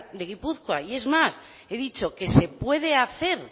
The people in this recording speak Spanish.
de gipuzkoa y es más he dicho que se pude hacer